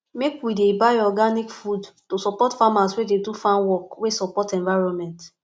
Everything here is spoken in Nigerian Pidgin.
make we dey buy organic food to support farmers wey dey do farmwork wey support environment